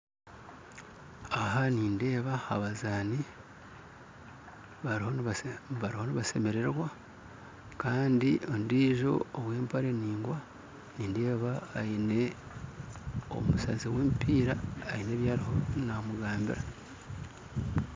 Aha nindeeba abazaani bariho nibasemererwa kandi ondijo owa empare endingwa nindeeba aine omusazi wa emipiira aine ebyarimu namugambira